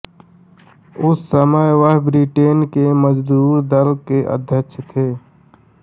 उस समय वह ब्रिटेन के मजदूर दल के अध्यक्ष थे